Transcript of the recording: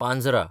Panjhra